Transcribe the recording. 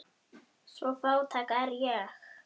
Svo fátæk er ég.